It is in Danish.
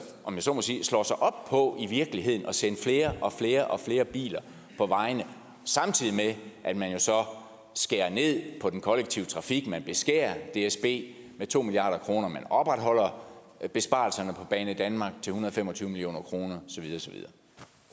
om jeg så må sige slår sig op på i virkeligheden at sende flere og flere og flere biler på vejene samtidig med at man jo så skærer ned på den kollektive trafik man beskærer dsb med to milliard kroner man opretholder besparelserne på banedanmark til en hundrede og fem og tyve million kroner